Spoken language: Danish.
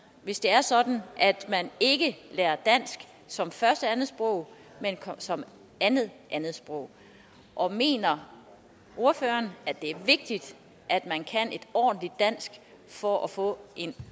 hvis det er sådan at man ikke lærer dansk som første andetsprog men som andet andetsprog og mener ordføreren at det er vigtigt at man kan et ordentligt dansk for at få en